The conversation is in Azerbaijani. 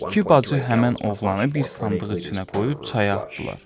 İki bacı həmin oğlanı bir sandıq içinə qoyub çaya atdılar.